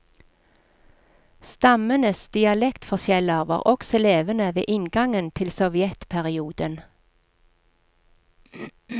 Stammenes dialektforskjeller var også levende ved inngangen til sovjetperioden.